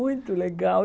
Muito legal.